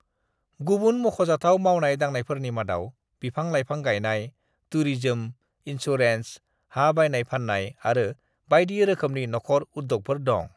"गुबुन मख'जाथाव मावनाय-दांनायफोरनि मादाव बिफां-लाइफां गायनाय, टुरिजम, इन्सुरेन्स, हा बायनाय-फाननाय आरो बायदि रोखोमनि नखर उद्यगफोर दं।"